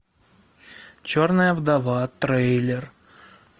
черная вдова трейлер